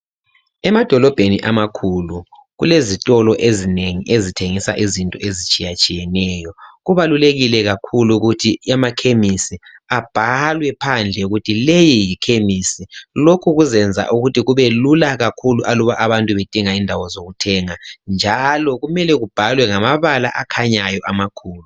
Emadolobheni amakhulu, kelezitolo ezinengi ezithengisa izinto ezitshiyatshiyeneyo. Kubalulekile kakhulu ukuthi amakhemisi abhalwe phandle ukuthi leyi yikhemisi. Lokhu kuzenza ukuthi kube lula kakhulu aluba abantu bedinga indawo zokuthenga. Njalo kumele kubhalwe ngamabala akhanyayo amakhulu.